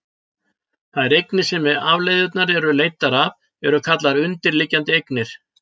Þær eignir sem afleiðurnar eru leiddar af eru kallaðar undirliggjandi eignir.